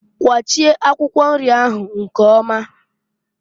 Kwachie akwụkwọ nri ahụ nkeoma!